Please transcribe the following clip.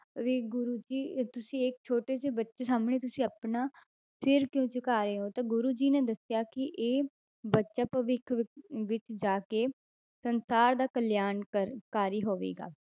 ਵੀ ਗੁਰੂ ਜੀ ਅਹ ਤੁਸੀਂ ਇੱਕ ਛੋਟੇ ਜਿਹੇ ਬੱਚੇ ਸਾਹਮਣੇ ਤੁਸੀਂ ਆਪਣਾ ਸਿਰ ਕਿਉਂ ਝੁਕਾ ਰਹੇ ਹੋ ਤਾਂ ਗੁਰੂ ਜੀ ਨੇ ਦੱਸਿਆ ਕਿ ਇਹ ਬੱਚਾ ਭਵਿੱਖ ਵਿੱ~ ਵਿੱਚ ਜਾ ਕੇ ਸੰਸਾਰ ਦਾ ਕਲਿਆਣ ਕਰ~ ਕਾਰੀ ਹੋਵੇਗਾ।